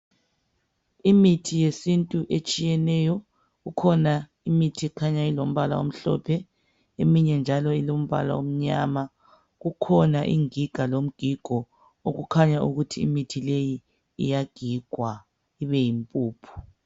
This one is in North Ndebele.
Imithi yesintu etshiyeneyo, kukhona imithi ekhanya ilombala omhlophe ,eminye njalo ilombala omnyama. Kukhona ingiga lomgigo okukhanya ukuthi imithi leyi iyagigwa ibeyimpuphu.